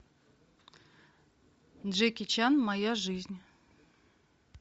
джеки чан моя жизнь